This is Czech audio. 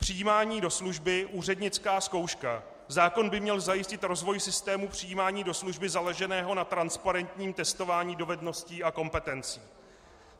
Přijímání do služby - úřednická zkouška: zákon by měl zajistit rozvoj systému přijímání do služby založeného na transparentním testování dovedností a kompetencí.